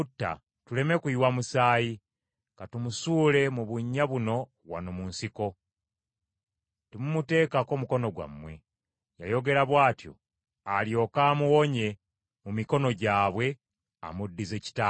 Tuleme kuyiwa musaayi; ka tumusuule mu bunnya buno wano mu nsiko. Temumuteekako mukono gwammwe.” Yayogera bw’atyo alyoke amuwonye mu mikono gyabwe, amuddize kitaawe.